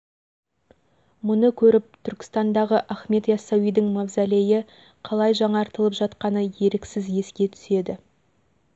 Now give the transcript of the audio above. мұны көріп түркістандағы ахмет иассауидің мавзолейі қалай жаңартылып жатқаны еріксіз еске түседі